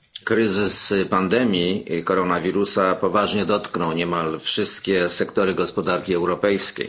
Kryzys pandemii koronawirusa poważnie dotknął niemal wszystkie sektory gospodarki europejskiej.